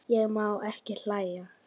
Ég má ekki hlæja.